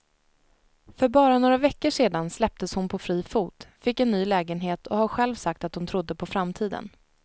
För bara några veckor sedan släpptes hon på fri fot, fick en ny lägenhet och har själv sagt att hon trodde på framtiden.